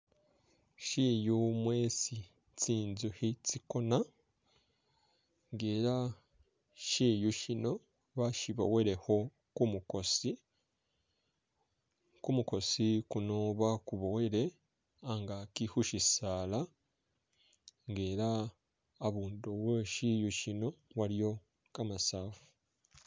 Shiyu mwesi tsintsukhi tsikona elah shiyu shino bashiboyelekho kumukosi kumukosi kuno bakuboyile angaki khusisaala elah abundu we shiyu shino waliyo kamasafu